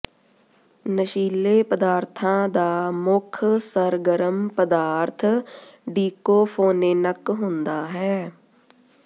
ਨਸ਼ੀਲੇ ਪਦਾਰਥਾਂ ਦਾ ਮੁੱਖ ਸਰਗਰਮ ਪਦਾਰਥ ਡੀਕੋਫੋਨੇਨਕ ਹੁੰਦਾ ਹੈ